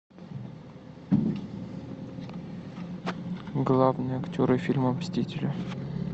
главные актеры фильма мстители